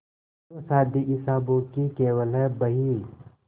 जो शादी हिसाबों की केवल है बही